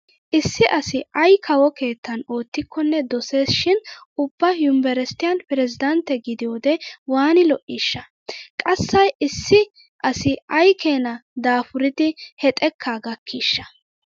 Issi asi ay kawo keettan oottikkonne dosees shin ubba yumbberesttiyan peresddantte gidiyode waani lo'iishsha? Qasai issi asi ay keenaa daafuridi he xekkaa gakkiishsha?